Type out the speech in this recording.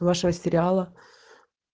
вашего сериала